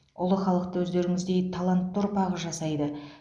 ұлы халықты өздеріңіздей талантты ұрпағы жасайды